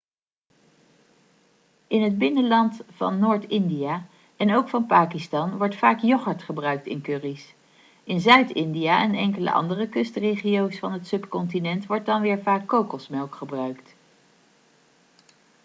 in het binnenland van noord-india en ook van pakistan wordt vaak yoghurt gebruikt in curry's in zuid-india en enkele andere kustregio's van het subcontinent wordt dan weer vaak kokosmelk gebruikt